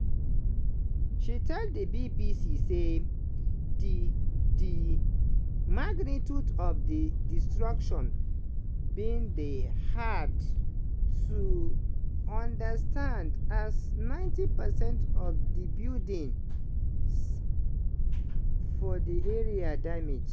she tell di bbc say di di magnitude of di destruction bin dey hard to understand as 90 percent of di buildings for di area damage.